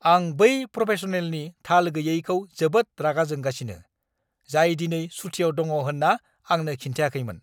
आं बै प्रफेसनेलनि थाल गैयैखौ जोबोद रागा जोंगासिनो, जाय दिनै सुथिआव दङ होन्ना आंनो खिन्थियाखैमोन।